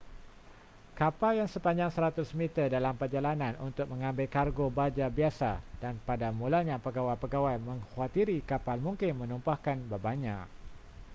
kapal yang sepanjang 100-meter dalam perjalanan untuk mengambil kargo baja biasa dan pada mulanya pegawai-pegawai mengkhuatiri kapal mungkin menumpahkan bebannya